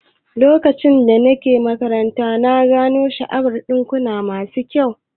Lokacin da nake makaranta, na gano sha'awar dinkuna masu kyau